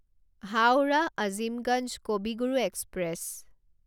Howrah Azimganj Kavi Guru express